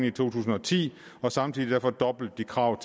i to tusind og ti samtidig fordoblede de kravet